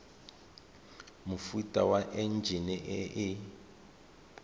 mofuta wa enjine e e